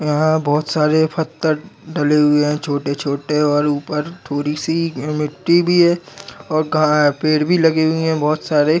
यहा बहुत सारे फत्थर डले हुए है छोटे छोटे और ऊपर थोड़ी सी मिट्टी भी है और गा पेड़ भी लगे हुए है बहुत सारे --